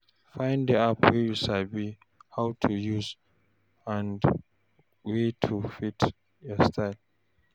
Find di app wey you sabi how to use and wey fit your style